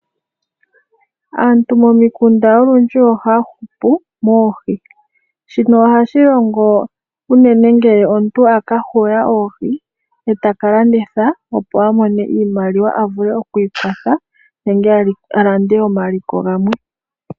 Aantu momikunda olundji ohaya hupu moohi. Shino ohashi longo unene ngele omuntu a ka huga oohi e ta ka landitha, opo a mone iimaliwa a vule oku ikwatha nenge a lande omaliko gamwe.